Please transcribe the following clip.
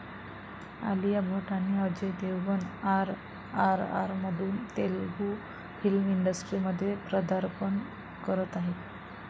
आलिया भट आणि अजय देवगणआरआरआरमधून तेलगू फिल्म इंडस्ट्रीमध्ये पदार्पण करत आहेत.